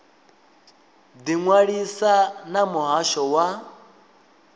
ḓi ṅwalisa na muhasho wa